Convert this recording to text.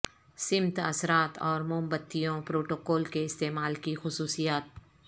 سمت اثرات اور موم بتیوں پروٹوکول کے استعمال کی خصوصیات